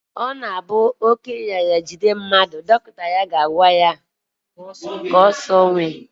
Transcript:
Ọ na-abụ oké nrịanrịa jide mmadụ, dọkịta ya ga-aga ya ụdị nri ọ ga-asọ